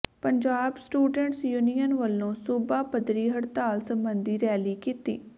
Punjab students union ਵੱਲੋਂ ਸੂਬਾ ਪੱਧਰੀ ਹੜਤਾਲ ਸਬੰਧੀ ਰੈਲੀ ਕੀਤੀ